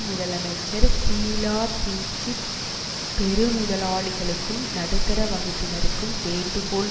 முதலமைச்சர் ஷீலா தீட்சித் பெருமுதலாளிகளுக்கும் நடுத்தர வகப்பினருக்கும் வேண்டுகோள்